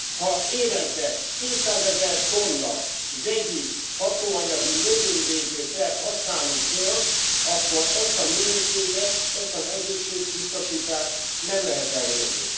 Ha évente kétszázezer tonna vegyi hatóanyagú növényvédő szert használunk föl, akkor ezt a minőséget, ezt az egészségbiztosítást nem lehet elérni.